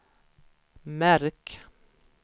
märk